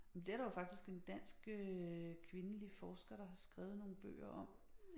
Men det er der jo faktisk en dansk øh kvindelig forsker der har skrevet nogle bøger om